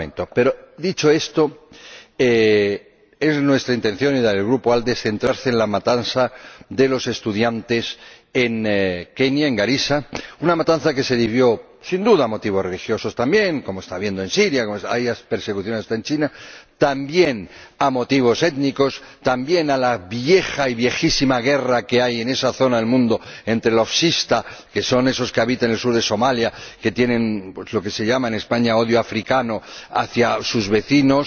Pero, dicho esto, es nuestra intención y la del Grupo ALDE centrarse en la matanza de los estudiantes en Kenia, en Garissa, una matanza que se debió, sin duda, a motivos religiosos también ―como está ocurriendo en Siria, como, hay persecuciones hasta en China―, pero también a motivos étnicos, también a la vieja y viejísima guerra que hay en esa zona del mundo entre los shifta, que son esos que habitan en el sur de Somalia, que tienen lo que se llama en España odio africano hacia sus vecinos